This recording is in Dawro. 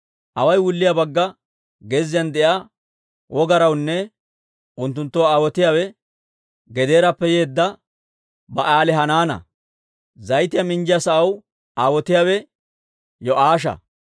Away wulliyaa bagga Geziyan de'iyaa wogarawunne unttunttoo aawotiyaawe Gedeerappe yeedda Ba'aalihanaana. Zayitiyaa minjjiyaa sa'aw aawotiyaawe Yo'aasha.